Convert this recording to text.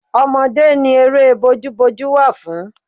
Ọmọdé ni eré bójú bójú wà fún.